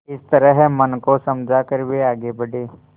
इस तरह मन को समझा कर वे आगे बढ़े